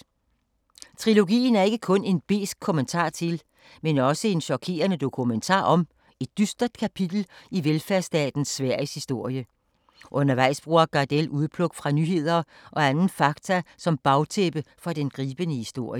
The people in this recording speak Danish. Trilogien er ikke kun en besk kommentar til, men også en chokerende dokumentar om et dystert kapitel i velfærdsstaten Sveriges historie. Undervejs bruger Gardell udpluk fra nyheder og anden fakta, som bagtæppe for den gribende historie.